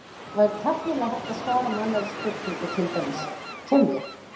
Það væri tæknilega hægt að svara með annarri spurningu, til dæmis: Kem ég?